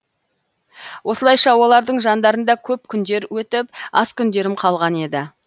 осылайша олардың жандарында көп күндер өтіп аз күндерім қалған еді